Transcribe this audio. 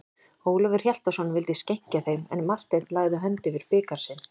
Ólafur Hjaltason vildi skenkja þeim, en Marteinn lagði hönd yfir bikar sinn.